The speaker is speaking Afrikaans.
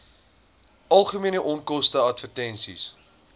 algemene onkoste advertensies